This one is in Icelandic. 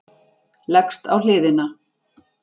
Leggst á hliðina.